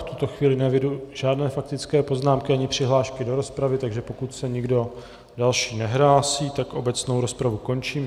V tuto chvíli neeviduji žádné faktické poznámky ani přihlášky do rozpravy, takže pokud se nikdo další nehlásí, tak obecnou rozpravu končím.